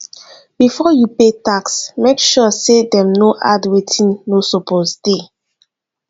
before you pay tax make sure say dem no add wetin no suppose dey